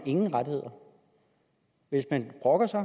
ingen rettigheder hvis man brokker sig